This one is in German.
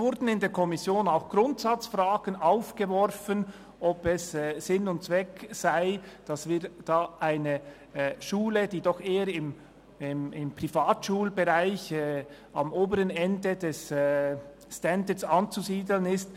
In der Kommission wurden auch Grundsatzfragen aufgeworfen, ob es Sinn und Zweck sei, dass wir eine Schule in Bogotá unterstützen sollen, die doch eher im Privatschulbereich am oberen Ende des Standards anzusiedeln ist.